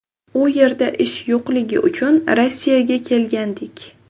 U yerda ish yo‘qligi uchun Rossiyaga kelgandik.